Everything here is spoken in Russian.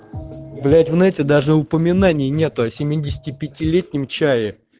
блять в нете даже упоминания нету о семидесяти пяти летнем чае